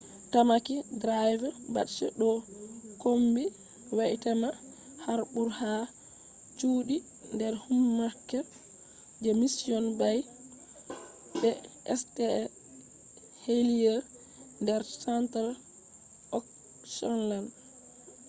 tamaki drive beaches ɗo kombi waitemata harbour ha chuɗi der upmarket je mission bay be st heliers der central auckland